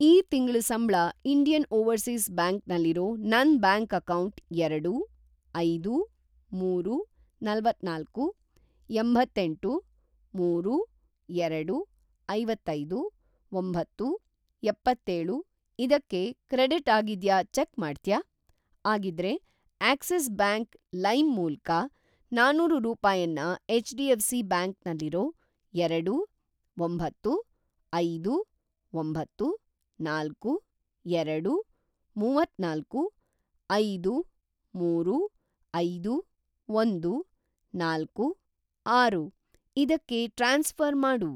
ಈ ತಿಂಗ್ಳ ಸಂಬ್ಳ ಇಂಡಿಯನ್‌ ಓವರ್‌ಸೀಸ್‌ ಬ್ಯಾಂಕ್ ನಲ್ಲಿರೋ ನನ್‌ ಬ್ಯಾಂಕ್ ಅಕೌಂಟ್‌‌ಎರಡು, ಐದು, ಮೂರು, ನಲವತ್ತನಾಲ್ಕು, ಎಂಬತ್ತೇಂಟು, ಮೂರು, ಎರಡು, ಐವತ್ತೈದು, ಒಂಬತ್ತು, ಎಪ್ಪತ್ತೇಳು ಇದಕ್ಕೆ ಕ್ರೆಡಿಟ್‌ ಆಗಿದ್ಯಾ ಚೆಕ್‌ ಮಾಡ್ತ್ಯಾ? ಆಗಿದ್ರೆ, ಆಕ್ಸಿಸ್‌ ಬ್ಯಾಂಕ್‌ ಲೈಮ್ ಮೂಲ್ಕ ನಾನೂರು ರೂಪಾಯನ್ನ ಎಚ್.ಡಿ.ಎಫ್.ಸಿ. ಬ್ಯಾಂಕ್ ನಲ್ಲಿರೋ ಎರಡು, ಒಬತ್ತು, ಐದು, ಒಂಬತ್ತು, ನಾಲ್ಕು, ಎರಡು, ಮೂವತ್ತನಾಲ್ಕು, ಐದು, ಮೂರು, ಐದು, ಒಂದು, ನಾಲ್ಕು, ಆರು ಇದಕ್ಕೆ ಟ್ರಾನ್ಸ್‌ಫ಼ರ್‌ ಮಾಡು.